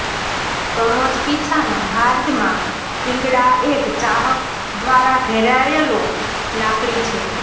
સમોચ્ચ પીછા ના હાર્દમાં શિંગડા એક ચાહક દ્વારા ઘેરાયેલો લાકડી છે